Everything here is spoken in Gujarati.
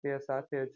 પાસે જ